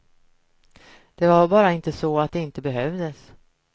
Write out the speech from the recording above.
Det var bara inte så att de inte behövdes.